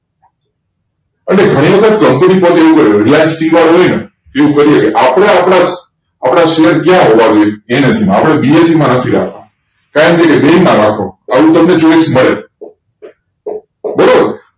અને ઘણી વખત company પણ એવું હોય reliance હોયને તેવું કરીયે આપડે આપડા આપડા શેર ક્યાં હોવા જોઈએ NSE માં આપડે BSE નાખી રાખવું બેઈ માં નાખો હજુ તમને ચોઈસ મળે બરોબર